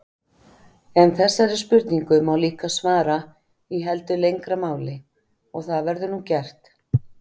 En þessari spurningu má líka svara í heldur lengra máli og það verður nú gert.